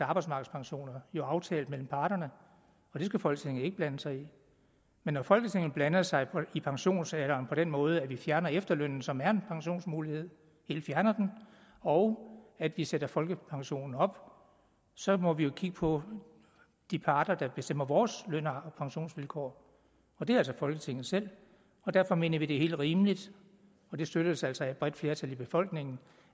arbejdsmarkedspensioner jo er aftalt mellem parterne og det skal folketinget ikke blande sig i men når folketinget blander sig i pensionsalderen på den måde at vi fjerner efterlønnen som er en pensionsmulighed og at vi sætter folkepensionsalderen op så må vi jo kigge på de parter der bestemmer vores løn og pensionsvilkår det er altså folketinget selv og derfor mener vi at det er helt rimeligt og det støttes altså af et bredt flertal i befolkningen